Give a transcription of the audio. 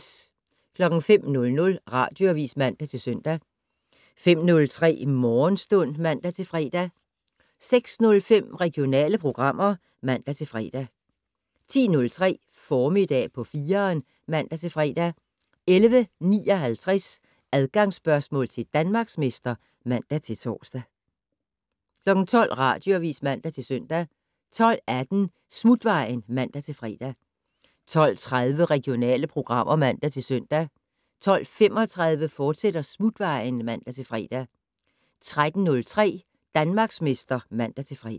05:00: Radioavis (man-søn) 05:03: Morgenstund (man-fre) 06:05: Regionale programmer (man-fre) 10:03: Formiddag på 4'eren (man-fre) 11:59: Adgangsspørgsmål til Danmarksmester (man-tor) 12:00: Radioavis (man-søn) 12:18: Smutvejen (man-fre) 12:30: Regionale programmer (man-søn) 12:35: Smutvejen, fortsat (man-fre) 13:03: Danmarksmester (man-fre)